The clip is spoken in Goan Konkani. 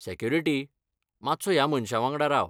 सेक्युरिटी, मात्सो ह्या मनशा वांगडा राव.